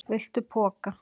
Viltu poka?